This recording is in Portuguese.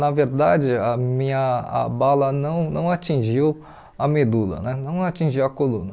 Na verdade, a minha a bala não não atingiu a medula né, não atingiu a coluna.